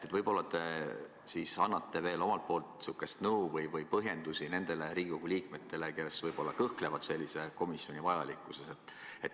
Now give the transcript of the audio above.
Ehk annate nõu või põhjendusi nendele Riigikogu liikmetele, kes võib-olla kõhklevad sellise komisjoni vajalikkuses?